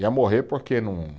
Ia morrer porque